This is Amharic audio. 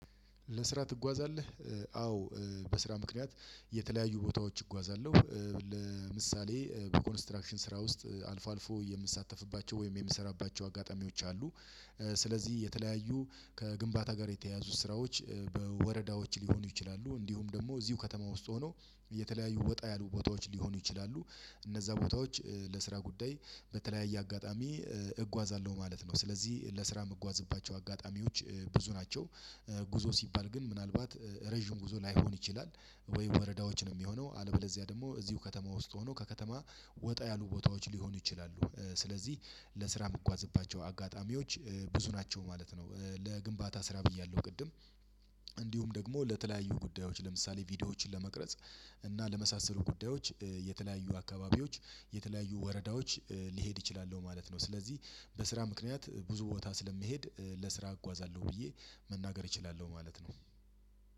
ለስራ ትጓዛለህ? አዎ በስራ ምክንያት የተለያዩ ቦታዎች እጓዛለሁ። ለምሳሌ በኮንስትራክሽን ስራ ውስጥ አልፎ አልፎ የምሳተፍባቸው ወይም የምሰራባቸው አጋጣሚዎች አሉ። ስለዚህ የተለያዩ ከግንባታ ጋር የተያያዙ ስራዎች በወረዳዎች ሊሆኑ ይችላሉ እንዲሁም ደግሞ እዚሁ ከተማ ውስጥ ሆኖ እየተለያዩ ወጣ ያሉ ቦታዎች ሊሆኑ ይችላሉ። እነዛ ቦታዎች ለስራ ጉዳይ በተለያየ አጋጣሚ እጓዛለሁ ማለት ነው። ስለዚህ ለስራ የምጓዝባቸው አጋጣሚዎች ብዙ ናቸው። ጉዞ ሲባል ግን ምናልባት ረጅም ጉዞ ላይሆን ይችላል ወይ ወረዳዎችን የሚሆነው አለበለዚያ ደግሞ እዚሁ ከተማ ውስጥ ሆኖ ከከተማ ወጣ ያሉ ቦታዎች ሊሆኑ ይችላሉ። ስለዚህ ለስራ የምጓዝባቸው አጋጣሚዎች ብዙ ናቸው ማለት ነው። ለግንባታ ስራ ብያለሁ ቅድም። እንዲሁም ደግሞ ለተለያዩ ጉዳዮች ለምሳሌ ቪዲዮዎችን ለመቅረጽ እና ለመሳሰሉ ጉዳዮች የተለያዩ አካባቢዎች የተለያዩ ወረዳዎች ሊሄድ እችላለሁ ማለት ነው። ስለዚህ በስራ ምክንያት ብዙ ቦታ ስለሚሄድ ለስራ አጓዛለሁ ብዬ መናገር እችላለሁ ማለት ነው።